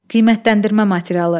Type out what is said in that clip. Qiymətləndirmə materialı.